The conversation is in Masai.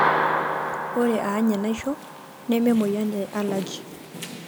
ore any enaisho nemeemoyian e allergy,